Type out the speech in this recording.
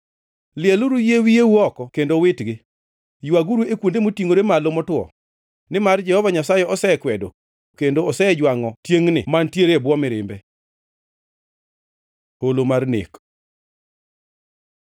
“ ‘Lieluru yie wiyeu oko kendo uwitgi; ywaguru e kuonde motingʼore malo motwo, nimar Jehova Nyasaye osekwedo kendo osejwangʼo tiengʼni mantiere e bwo mirimbe. Holo mar nek